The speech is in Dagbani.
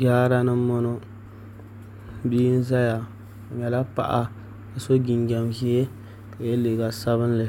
Jaara ni n boŋo bia ʒɛya o nyɛla paɣa ka so jinjɛm ʒiɛ ka yɛ liiga sabinli